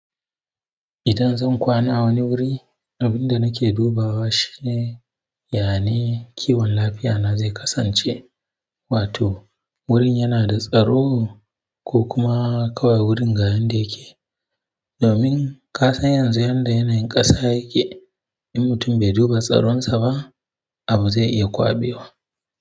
Idan zan kwana, a wani wuri, abin da nake dubawa shine, yaya ne kiwon lafiyana zai kasance. Wato wurin yana da tsaro ko kuma kawai wurin ga yanda yake. Domin ka san yanzu yanda yanayin ƙasa yake in mutum bai duba tsaron saba abu zai iya kwaɓewa.